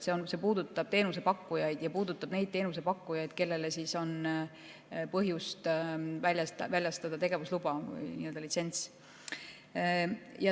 See puudutab teenusepakkujaid ja puudutab neid teenusepakkujaid, kellele on põhjust väljastada tegevusluba, litsents.